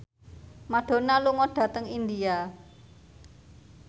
Madonna lunga dhateng India